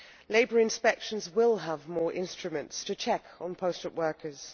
Labour inspections will have more instruments to check on posted workers.